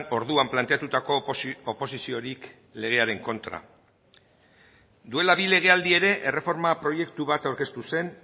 orduan planteatutako oposiziorik legearen kontra duela bi legealdi ere erreforma proiektu bat aurkeztu zen